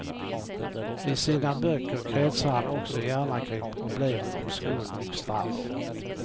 I sina böcker kretsar han också gärna kring problemen om skuld och straff.